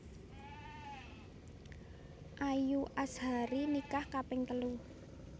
Ayu Azhari nikah kaping telu